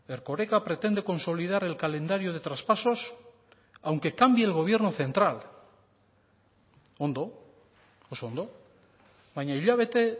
erkoreka pretende consolidar el calendario de traspasos aunque cambie el gobierno central ondo oso ondo baina hilabete